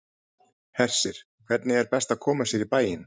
Hersir, hvernig er best að koma sér í bæinn?